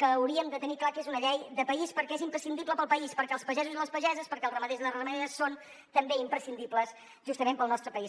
que hauríem de tenir clar que és una llei de país perquè és imprescindible per al país perquè els pagesos i les pageses perquè els ramaders i les ramaderes són també imprescindibles justament per al nostre país